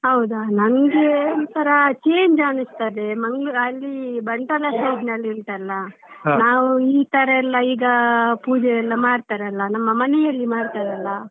ಹೌದಾ ನನ್ಗೆ ಒಂತರಾ change ಅನ್ನಿಸ್ತದೆ Mangalore ಅಲ್ಲಿ Bantwal side ನಲ್ಲಿ ಉಂಟಲ್ಲಾ ನಾವ್ ಈ ತರ ಎಲ್ಲ ಈಗ ಪೂಜೆಯೆಲ್ಲ ಮಾಡ್ತಾರಲ್ಲ ನಮ್ಮ ಮನೆಯಲ್ಲಿ ಮಾಡ್ತಾರಲ್ಲ.